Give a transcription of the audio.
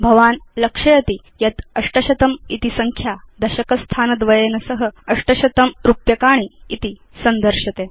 भवान् लक्षयिष्यति यत् 800 इति संख्या दशकस्थानद्वयेन सह 800 रूप्यकाणि इति संदर्श्यते